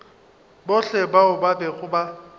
bohle bao ba bego ba